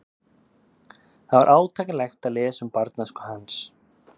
Það var átakanlegt að lesa um barnæsku hans.